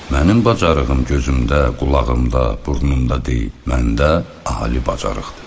Mənim bacarığım gözümdə, qulağımda, burnumda deyil, məndə ağılı.